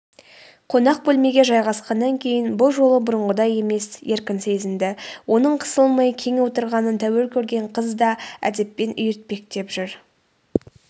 қонақ бөлмеге жайғасқаннан кейін бұл жолы бұрынғыдай емес еркін сезінді оның қысылмай кең отырғанын тәуір көрген қыз да әдеппен үйіртпектеп жүр